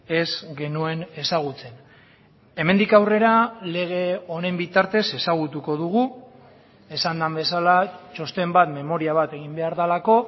ez genuen ezagutzen hemendik aurrera lege honen bitartez ezagutuko dugu esan den bezala txosten bat memoria bat egin behar delako